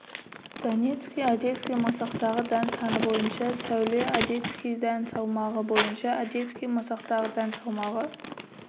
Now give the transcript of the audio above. донецкий одесский масақтағы дән саны бойынша сәуле одесский дән салмағы бойынша одесский масақтағы дән салмағы